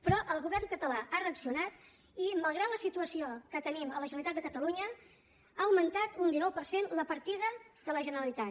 però el govern català ha reaccionat i malgrat la situació que tenim a la generalitat de catalunya ha augmentat un dinou per cent la partida de la generalitat